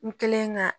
N kɛlen ka